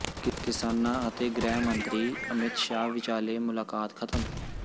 ਕਿਸਾਨਾਂ ਅਤੇ ਗ੍ਰਹਿ ਮੰਤਰੀ ਅਮਿਤ ਸ਼ਾਹ ਵਿਚਾਲੇ ਮੁਲਾਕਾਤ ਖਤਮ